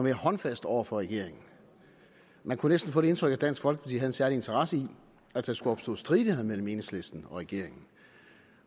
håndfast over for regeringen men kunne næsten få det indtryk at dansk folkeparti havde en særlig interesse i at der skulle opstå stridigheder mellem enhedslisten og regeringen